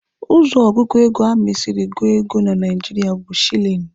Ụzọ ọgụgụ ego ama esiri gụọ ego na Naijiria bụ shilini.